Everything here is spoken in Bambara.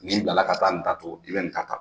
Ni bilala ka taa nin ta tugun i bɛ nin ta tan.